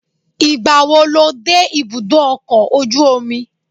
Ìgbàwo lo dé ibùdó ọkọ̀ ojú omi?